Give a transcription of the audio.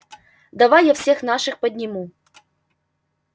давай я всех наших подниму